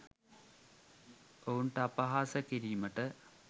ඔවුන්ට අපහාස කිරීමට